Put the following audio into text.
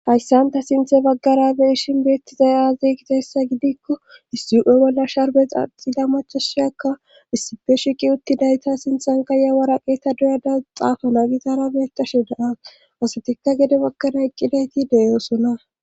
hayssan ta sinthe baggara beeshin bettizayaze gita hessa gidikko issi7e bolla sharbe xaxida machoshiyakka issipe shiqi uttidayta sinthanka yawara qeeta duyada xaafana gitara beettashe daa asatikka gede baggana iqqidayti de'oosona